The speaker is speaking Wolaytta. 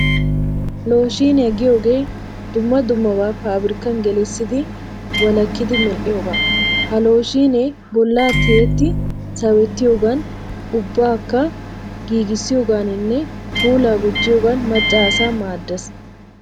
Looshiiniya giyogee dumma dummabaa paabrikkan gelissidi walakki medhdhiyoogaa. Ha looshiinee bollaa tiyetti sawettiyoogan ubbakka shugissiyoogaaninne puulaa gujjiyoogan macca asaa maaddes.